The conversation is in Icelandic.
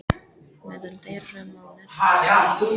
Meðal þeirra má nefna sögnina um